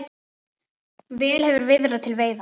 Vel hefur viðrað til veiða.